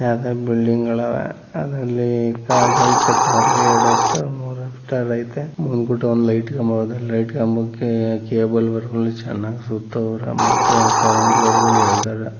ಹಲವಾರು ಬಿಲ್ಡಿಂಗಗಳು ಅದರಲ್ಲಿ ಎರಡ ಆಕ್ಟರ್ ಮೂರು ಆಫ್ ಟಿಯರ್ ಐತೆ. ಅಲ್ಲಿ ಲೈಟ್ ಕಂಬ ಅದಕ್ಕೆ ಕೇಬಲ್ ವೈರಗಳು ಚೆನ್ನಾಗಿ ಸುತ್ತೋರೆ ಮತ್ತೆ ಕರೆಂಟ್ ವೇರ್ಗಳು ಏಳ್ದೋರೆ.